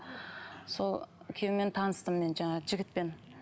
сол күйеумен таныстым мен жаңағы жігітпен